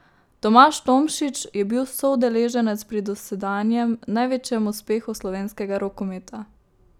Tomaž Tomšič je bil soudeleženec pri dosedanjem največjem uspehu slovenskega rokometa.